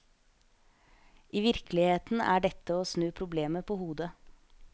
I virkeligheten er dette å snu problemet på hodet.